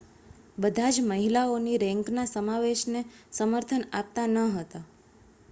બધા જ મહિલાઓની રેન્કના સમાવેશને સમર્થન આપતા ન હતા